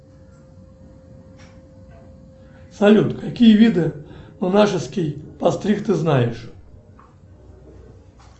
салют какие виды монашеский постриг ты знаешь